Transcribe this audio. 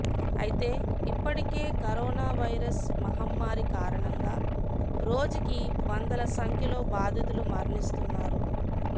అయితే ఇప్పటికే corona virus మహమ్మారి కారణంగా రోజుకి వందల సంఖ్యలో బాధితులు మరణిస్తున్నారు